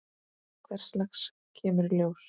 Hvers lags kemur í ljós.